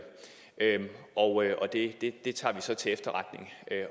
og det tager vi så til efterretning